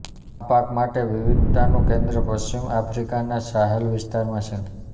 આ પાક માટે વિવિધતાનું કેન્દ્ર પશ્ચિમ આફ્રિકાના સાહેલ વિસ્તારમાં છે